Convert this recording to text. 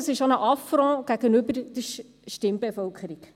das ist auch ein Affront gegenüber der Stimmbevölkerung.